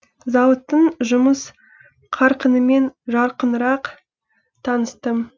зауыттың жұмыс қарқынымен жақынырақ таныстым